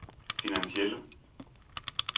finansielle